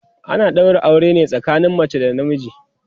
ana ɗaura aure ne tsakanin mace da na miji